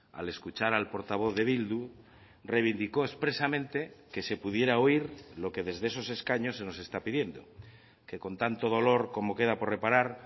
al escuchar al portavoz de bildu reivindicó expresamente que se pudiera oír lo que desde esos escaños se nos está pidiendo que con tanto dolor como queda por reparar